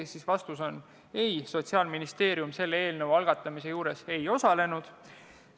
Sellele oli vastus eitav, Sotsiaalministeerium selle eelnõu algatamises ei osalenud.